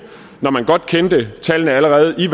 og man godt kendte tallene allerede